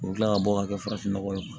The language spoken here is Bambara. U bɛ tila ka bɔ ka kɛ farafinnɔgɔ ye